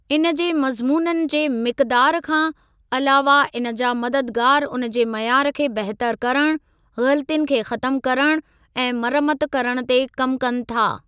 इन जे मज़मूननि जे मिक़दार खां अलावह इन जा मददगारु उन जे मयार खे बहितर करणु, ग़लतियुनि खे ख़तमु करणु ऐं मरमत करणु ते कमु कनि था।